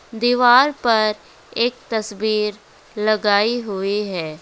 दीवार पर एक तस्वीर लगाई हुई है।